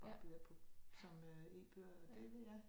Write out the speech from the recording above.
Og bliver på som øh e-bøger det vil ja